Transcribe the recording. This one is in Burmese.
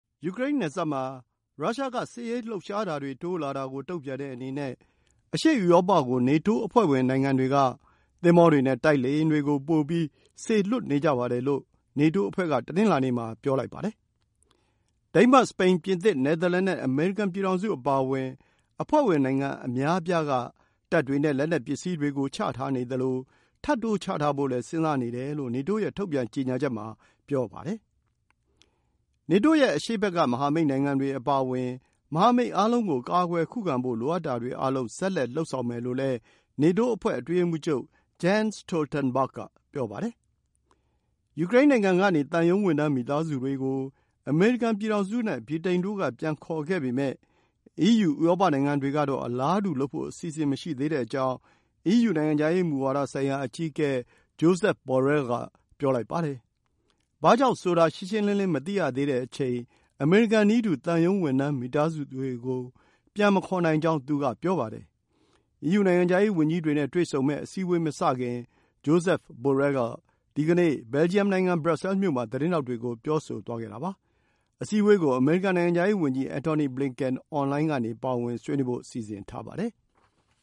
ယူကရိန်း နယ်စပ် မှာ ရုရှား စစ်ရေး လှုပ်ရှားမှုတွေ တိုးလာတာ ကို တုန့်ပြန်တဲ့အနေနဲ့ အရှေ့ဥရောပ ကို နေတိုး အဖွဲ့ဝင် နိုင်ငံတွေ က သင်္ဘောတွေ နဲ့ တိုက်လေယာဉ်တွေ ကို ပိုပြီး ပို့နေကြပါတယ် လို့ နေတိုးအဖွဲ့ က တနင်္လာနေ့ မှာ ပြောပါတယ်။ ဒိန်းမတ်၊ စပိန်၊ ပြင်သစ်၊ နယ်သာလန် နဲ့ အမေရိကန် ပြည်ထောင်စု အပါအဝင် အဖွဲ့ဝင် နိုင်ငံ အများအပြား က တပ်တွေ နဲ့ လက်နက် ပစ္စည်းတွေ ကို ချထားနေသလို၊ ထပ်တိုးချထားဖို့လည်း စဉ်းစားနေတယ်လို့ နေတိုး ရဲ့ ထုတ်ပြန်ကြေညာချက် မှာ ပြောပါတယ်။ နေတိုး ရဲ့ အရှေ့ဘက် က မဟာမိတ် နိုင်ငံတွေ အပါအဝင် မဟာမိတ်အားလုံး ကို ကာကွယ် ခုခံဖို့ လိုအပ်တာတွေ အားလုံး ဆက်လက် လုပ်ဆောင်မယ်လို့ နေတိုး အဖွဲ့ အတွင်းရေးမှူးချုပ် Jens Stoltenberg က ပြောပါတယ်။ ယူကရိန်းနိုင်ငံ ကနေ သံရုံးဝန်ထမ်း မိသားစုတွေကို အမေရိကန်ပြည်ထောင်စု နဲ့ ဗြိတိန်တို့ က ပြန်ခေါ်ခဲ့ပေမဲ့ အီးယူ ဥရောပနိုင်ငံတွေကတော့ အလားတူ လုပ်ဖို့ အစီအစဉ်မရှိသေးတဲ့အကြောင်း အီးယူ နိုင်ငံခြားရေး မူဝါဒ ဆိုင်ရာ အကြီးအကဲ Josep Borrell က ပြောလိုက်ပါတယ်။ ဘာကြောင့် ဆိုတာ ရှင်းရှင်းလင်းလင်း မသိရသေးတဲ့အချိန် အမေရိကန်နည်းတူ သံရုံးဝန်ထမ်း မိသားစုတွေကို ပြန်မခေါ်နိုင်ကြောင်း သူ က ပြောပါတယ်။ အီးယူ နိုင်ငံခြားရေးဝန်ကြီးတွေနဲ့ တွေ့ဆုံမယ့် အစည်းအဝေး မစတင်မီ Josep Borrell က ဒီနေ့ Belgium နိုင်ငံ Brussels မြို့မှာ သတင်းထောက်တွေကို ပြောဆိုသွားတာပါ။ အစည်းအဝေးကို အမေရိကန် နိုင်ငံခြားရေး ဝန်ကြီး Antony Blinken အွန်လိုင်းကနေ ပါဝင်ဆွေးနွေးဖို့ စီစဉ်ထားပါတယ်။